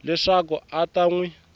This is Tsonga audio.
leswaku a ta n wi